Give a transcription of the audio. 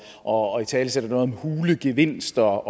og italesætter noget om hule gevinster